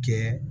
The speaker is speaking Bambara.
Kɛ